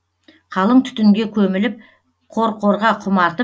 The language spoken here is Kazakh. қалың түтінге көміліп қорқорға құмартып